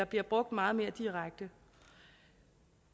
bliver brugt meget mere direkte